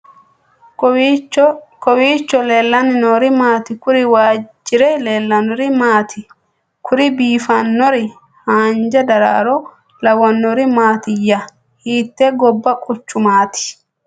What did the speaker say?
kowiicho leellanni noori maati ? kuri waajjire leellannori maati ? kuri biifannori hanja daraaro lawannori maatiya ? hiittte gobba quchumaati ?